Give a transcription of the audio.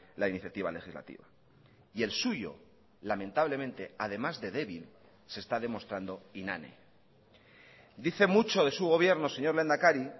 la iniciativa legislativa y el suyo lamentablemente además de débil se está demostrando inane dice mucho de su gobierno señor lehendakari